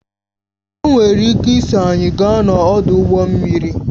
O nwere ike iso anyị gaa n'ọdụ ụgbọ mmiri